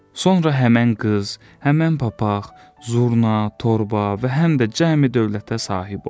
Sonra həmin qız, həmin papaq, zurna, torba və həm də cəmi dövlətə sahib olur.